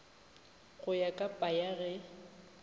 go ya ka paia ge